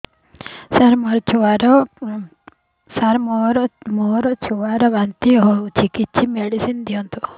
ସାର ମୋର ଛୁଆ ର ବାନ୍ତି ହଉଚି କିଛି ମେଡିସିନ ଦିଅନ୍ତୁ